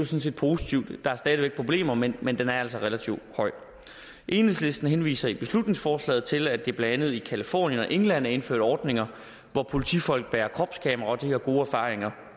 set positivt der er stadig væk problemer men men den er altså relativt høj enhedslisten henviser i beslutningsforslaget til at der blandt andet i californien og england er indført ordninger hvor politifolk bærer kropskamera og de har gode erfaringer